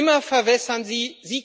Immer verwässern Sie!